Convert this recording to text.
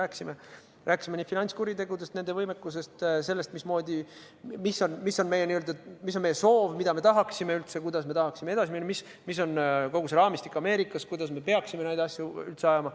Me rääkisime finantskuritegudest, nende võimekusest, sellest, mis on meie soov, mida me üldse tahaksime, kuidas me tahaksime edasi minna, mis on kogu see raamistik Ameerikas, kuidas me peaksime neid asju ajama.